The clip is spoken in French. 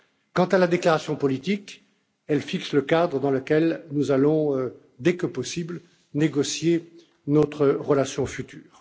Quant à la déclaration politique, elle fixe le cadre dans lequel nous allons, dès que possible, négocier notre relation future.